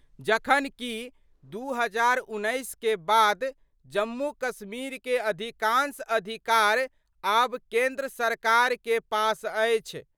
जखन कि 2019 के बाद जम्मू-कश्मीर के अधिकांश अधिकार आब केंद्र सरकार के पास अछि।